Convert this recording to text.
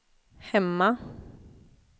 hemma